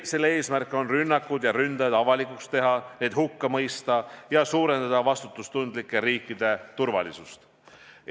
Eesmärk on rünnakud ja ründajad avalikuks teha, need hukka mõista ja suurendada vastutustundlike riikide turvalisust.